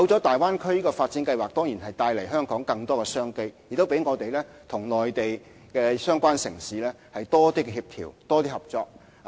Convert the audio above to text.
大灣區發展計劃的出現，當然為香港帶來更多商機，亦讓我們與內地相關城市有更多協調和合作。